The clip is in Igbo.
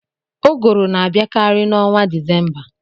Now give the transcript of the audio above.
Ụgụrụ na-abịakarị n'ọnwa Desemba.